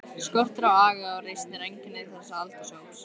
Skortur á aga og reisn er einkenni þessa aldurshóps.